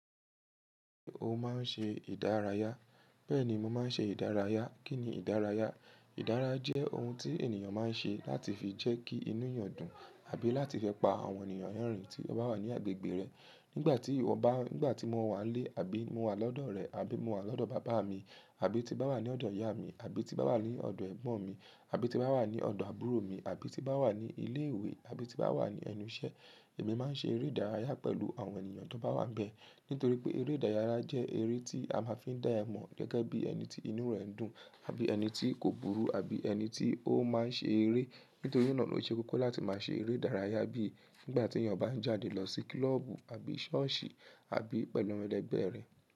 O máa ń ṣe ìdárayá. Bẹ́ẹ̀ ni mo máa ń ṣe ìdárayá. Kí ni ìdárayá? Ìdárayá jẹ́ ohun tí ènìyàn máa ń ṣe láti fi jẹ́ kí inú èèyàn dùn àbí láti fẹ́ pa àwọn ènìyàn lerìn tí wọ́n bá wà ní agbègbè rẹ̀. Nígbà tí iwo bá, nígbà tí mo wà n lé, àbí mo wà lọ́dọ̀ rẹ, àbí mo wà lọ́dọ̀ bàbá mi, àbí tí n bá wà ní ọ̀dọ̀ ìyá mi, àbí tí n bá wà ní ọ̀dọ̀ ẹ̀gbọ́n mi, àbí tí n bá wà ní ọ̀dọ̀ àbúrò mi, àbí tí n bá wà ní ilé ìwé, àbí tí n bá wà ní ẹnu iṣẹ́, èmi máa ń ṣe eré ìdárayá pẹ̀lú àwọn ènìyàn tó bá wà ńbẹ. Nítorí pé eré ìdárayá jẹ́ eré tí a máa ń fi dá ẹ mọ̀ gẹ́gẹ́ bí ẹni tí inú rẹ̀ ń dùn àbí ẹni tí kò burú àbí ẹni tí ó máa ń ṣe eré. Nítorí náà ló ṣe kókó láti máa ṣe eré ìdárayá bíi nígbà tí èeyàn bá ń jáde lọ sí kloọ́bù àbí ṣọ́ọ̀ṣì àbí pẹ̀lú awon ẹlẹ́gbẹ̀ rẹ̀